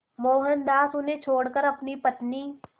मोहनदास उन्हें छोड़कर अपनी पत्नी